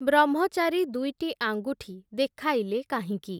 ବ୍ରହ୍ମଚାରୀ ଦୁଇଟି ଆଙ୍ଗୁଠି ଦେଖାଇଲେ କାହିଁକି ।